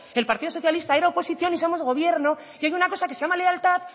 el partido socialista era oposición y somos gobierno y hay una cosa que se llama lealtad